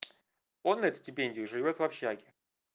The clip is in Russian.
он на эту стипендию живёт в общаге